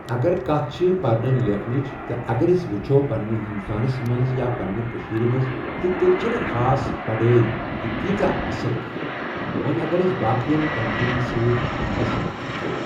اَگر کَتھ چھِ پَرنہٕ لٮ۪کھنٕچ تہٕ اَگر أسۍ وُچھو پَنٕنہِ ہِندوستانس منٛز یا پَننہِ کٔشیٖر منٛز تہٕ تیٚلہِ چھےٚ نہٕ خاص پَڑٲے یہِ تیٖژہ اَصٕل کِہینۍ وۄنۍ اَگر أسۍ باقٮ۪ن کَنٹرین سۭتۍ أسۍ اَتھ وۄچھو۔